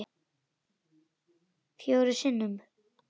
Fjórum sinnum?